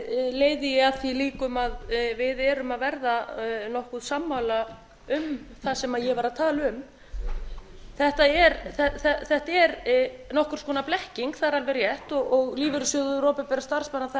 leiði ég að því líkum að við erum að verða nokkuð sammála um það sem ég var að tala um þetta er nokkurs konar blekking það er alveg rétt og lífeyrissjóður opinberra starfsmanna það er